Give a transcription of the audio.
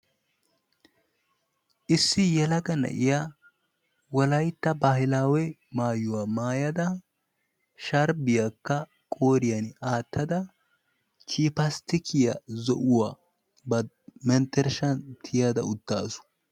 issi yelaga na"iya wolaytta baahilaawe maayuwa maayada sharbiyakka qooriyan aatada chipastikkiya zo'uwa ba mentershan tiyada uttaasu.